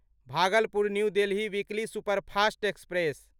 Bhagalpur new Delhi weekly superfast express